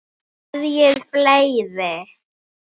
Hverjir fleiri?